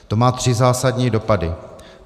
To má tři zásadní dopady.